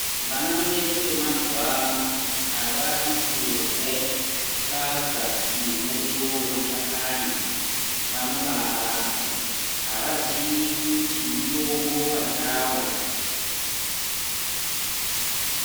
Vana vedu vemazuva ano avadi kurye sadza nemuriwo wemashakani vanobaa ramba avazivi kuti mutombo pachawo.